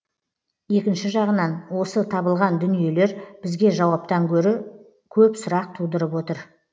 екінші жағынан осы табылған дүниелер бізге жауаптан гөрі көп сұрақ тудырып отыр